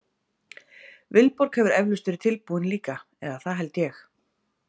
Vilborg hefur eflaust verið tilbúin líka eða það held ég.